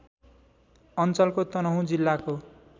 अञ्चलको तनहुँ जिल्लाको